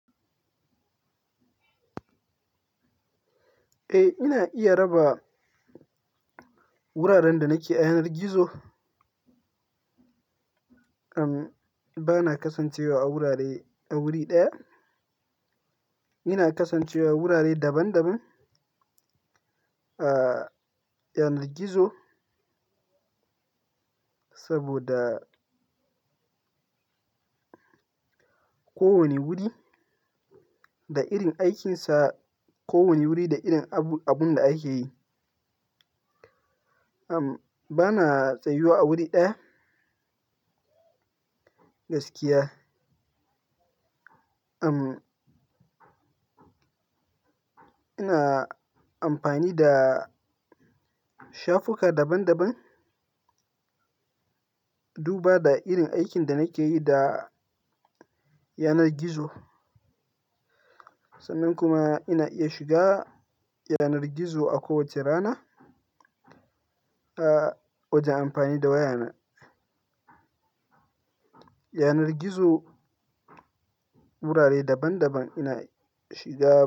Eh, ina iya raba wuraren da nake yanar gizo. Am, bana kasancewa a wurare, a wuri ɗaya. Ina kasancewa a wurare daban daban a yanar gizo saboda kowane wuri da irin aikinsa, kowane wuri da irin abu, abun da ake yi. Am, bana tsayuwa a wuri ɗaya gaskiya. Am, ina amfani da shafuka daban daban duba da irin aikin da nake yi da yanar gizo. Sannan kuma ina iya shiga yanar gizo a kowace rana a wajen amfani da waya na. Yanar gizo wurare daban daban ina shiga.